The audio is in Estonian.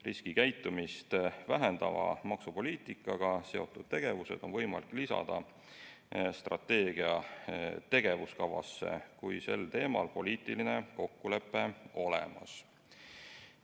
Riskikäitumist vähendava maksupoliitikaga seotud tegevused on võimalik lisada strateegia tegevuskavasse, kui sel teemal on poliitiline kokkulepe olemas.